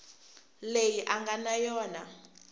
leyi a nga na yona